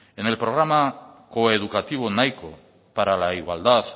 en el programa coeducativo nahiko para la igualdad